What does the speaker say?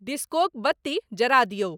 डिस्कोक बत्ती जरा दियौ।